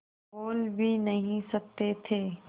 बोल भी नहीं सकते थे